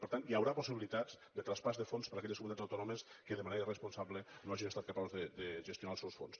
per tant hi haurà possibilitats de traspàs de fons per a aquelles comunitats autònomes que de manera irresponsable no hagin estat capaces de gestionar els seus fons